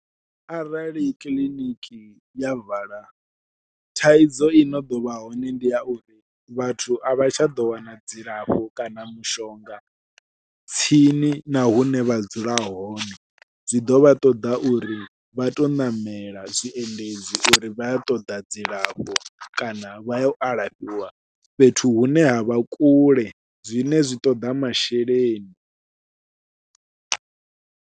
Arali kiḽiniki ya vala thaidzo i no ḓovha hone ndi ya uri vhathu a vha tsha ḓo wana dzilafho kana mishonga tsini na hune vha dzula hone, zwi ḓo vha ṱoḓa uri vha tou ṋamela zwiendedzi uri vha yo ṱoḓa dzilafho kana vha ya u alafhiwa fhethu hune havha kule zwine zwi ṱoḓa masheleni.